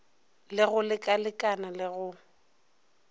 le go lekalekana le go